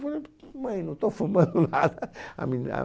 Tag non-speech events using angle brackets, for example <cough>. mãe, não estou fumando nada <laughs> a minha